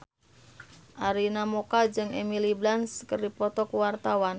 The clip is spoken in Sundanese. Arina Mocca jeung Emily Blunt keur dipoto ku wartawan